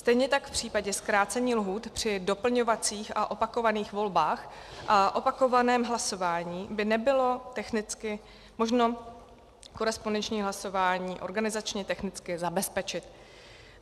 Stejně tak v případě zkrácení lhůt při doplňovacích a opakovaných volbách a opakovaném hlasování by nebylo technicky možno korespondenční hlasování organizačně technicky zabezpečit.